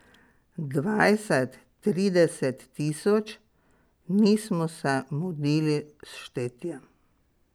Dvajset, trideset tisoč, nismo se mudili s štetjem.